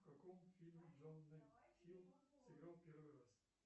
в каком фильме джона хилл сыграл в первый раз